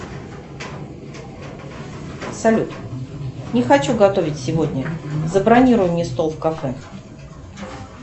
салют не хочу готовить сегодня забронируй мне стол в кафе